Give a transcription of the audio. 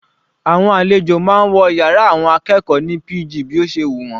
Àwọn àlejò máa ń wọ yàrá àwọn akẹ́kọ̀ọ́ ní pg bí ó ṣe wù wọ́n.